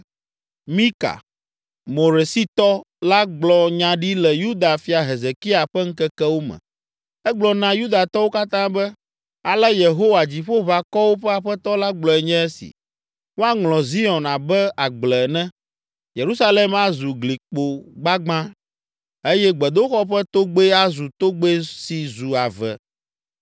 “Mika, Moresitɔ la gblɔ nya ɖi le Yuda fia Hezekia ƒe ŋkekewo me. Egblɔ na Yudatɔwo katã be, ‘Ale Yehowa, Dziƒoʋakɔwo ƒe Aƒetɔ la gblɔe nye esi: “ ‘Woaŋlɔ Zion abe agble ene, Yerusalem azu glikpo gbagbã eye gbedoxɔ ƒe togbɛ azu togbɛ si zu ave.’